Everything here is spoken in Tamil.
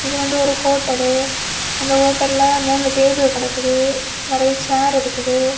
இது வந்து ஒரு ஹோட்டலு அந்த ஹோட்டல்ல மூணு டேபிள் கடக்குது நிறைய சேர் இருக்குது.